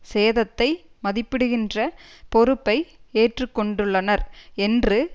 சேதத்தை மதிப்பிடுகின்ற பொறுப்பை ஏற்றுக்கொண்டுள்ளனர் என்று